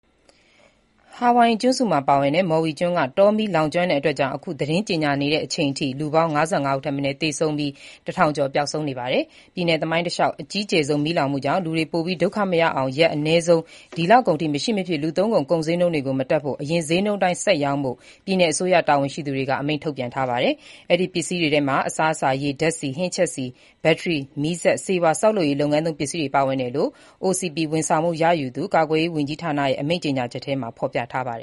ဟာဝိုင်အီကျွန်းစုမှာ ပါဝင်တဲ့ မော်ဝီကျွန်းက တောမီးကြောင့်လူပေါင်း ၅၅ ဦးထက်မနည်း သေဆုံးပြီး ၁၀၀၀ ကျော် ပျောက်ဆုံးနေပါတယ်။ ပြည်နယ် သမိုင်းတလျှောက် အကြီးကျယ်ဆုံး မီးလောင်မှုကြောင့် လူတွေ ပိုပြီး ဒုက္ခမရောက်အောင် ရက်အနည်းဆုံး ဒီလကုန်အထိ မရှိမဖြစ် လူသုံးကုန်ဈေးနှုန်းတွေ မတက်ဖို့၊ အရင် ဈေးနှုန်းအတိုင်း ဆက်ရောင်းဖို့ ပြည်နယ်အစိုးရတာဝန်ရှိသူတွေက အမိန့်ထုတ်ပြန်ထားပါတယ်။ အဲဒီကုန်ပစ္စည်းတွေထဲမှာ အစားအစာ၊ ရေ၊ ဓါတ်ဆီ၊ ဟင်းချက်ဆီ၊ ဘက်ထရီ၊ မီးစက်၊ ဆေးဝါး၊ ဆောက်လုပ်ရေးသုံးပစ္စည်းတွေ ပါဝင်တယ်လို့ OCP ဝန်ဆောင်မှုရယူသူ ကာကွယ်ရေးဌာနရဲ့ အမိန့်ကြေညာချက်ထဲမှာ ဖေါ်ပြထားပါတ